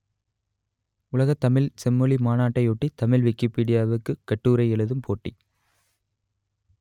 உலகத் தமிழ்ச் செம்மொழி மாநாட்டையொட்டி தமிழ் விக்கிப்பீடியாவுக்கு கட்டுரை எழுதும் போட்டி